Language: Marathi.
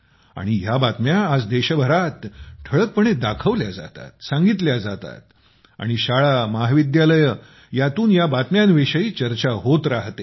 आणि ह्या बातम्या आज देशभरात ठळकपणे दाखवल्या जातात सांगितल्या जातात आणि शाळा महाविद्यालये ह्यातून ह्या बातम्यांविषयी चर्चा होत राहते